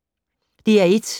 DR1